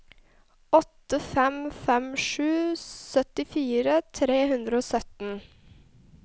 åtte fem fem sju syttifire tre hundre og sytten